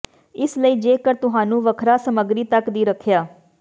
ਇਸ ਲਈ ਜੇਕਰ ਤੁਹਾਨੂੰ ਵੱਖਰਾ ਸਮੱਗਰੀ ਤੱਕ ਦੀ ਰੱਖਿਆ